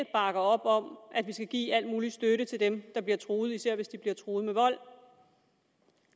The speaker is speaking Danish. bakker op om at vi skal give al mulig støtte til dem der bliver truet især hvis de bliver truet med vold